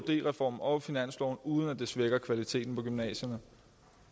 reformen og finansloven uden at det svækker kvaliteten på gymnasierne